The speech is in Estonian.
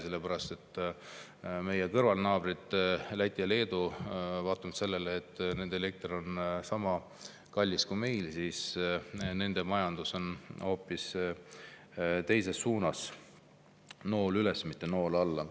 Sellepärast et meie kõrval on naabrid Läti ja Leedu, kelle majandus vaatamata sellele, et nende elekter on sama kallis kui meil, hoopis teises suunas: nool üles, mitte alla.